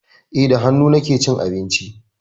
Eh, da hannu nake cin abinci.